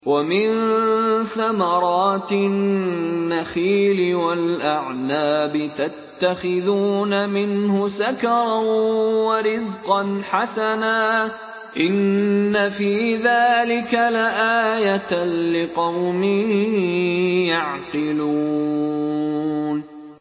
وَمِن ثَمَرَاتِ النَّخِيلِ وَالْأَعْنَابِ تَتَّخِذُونَ مِنْهُ سَكَرًا وَرِزْقًا حَسَنًا ۗ إِنَّ فِي ذَٰلِكَ لَآيَةً لِّقَوْمٍ يَعْقِلُونَ